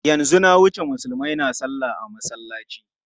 Yanzu na wuce Musulmai na salla a masallaci.